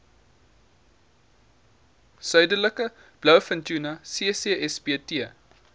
suidelike blouvintuna ccsbt